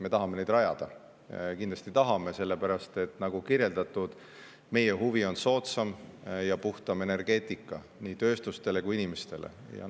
Me tahame neid rajada, kindlasti tahame, sellepärast et nagu kirjeldatud, on meie huvi soodsam ja puhtam energeetika nii tööstuste kui ka inimeste jaoks.